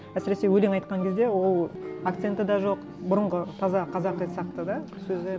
әсіресе өлең айтқан кезде ол акценті де жоқ бұрынғы таза қазақи сияқты да сөзі